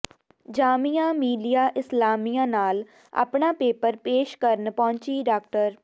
ਜਾਮੀਆ ਮਿਲੀਆ ਇਸਲਾਮੀਆ ਨਾਲ ਆਪਣਾ ਪੇਪਰ ਪੇਸ਼ ਕਰਨ ਪਹੁੰਚੀ ਡਾ